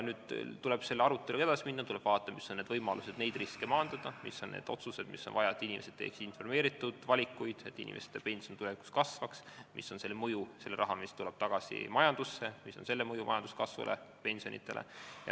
Nüüd tuleb selle aruteluga edasi minna, tuleb vaadata, mis on võimalused neid riske maandada, mis on need otsused, mida on vaja selleks, et inimesed teeks informeeritud valikuid ning et pension tulevikus kasvaks, mis on selle mõju sellele rahale, mis tuleb tagasi majandusse, mis on selle mõju majanduskasvule, pensionidele.